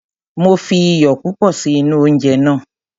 Mi ò fi iyò púpọ̀ sí inú oúnje náà.